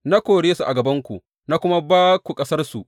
Na kore su a gabanku na kuma ba ku ƙasarsu.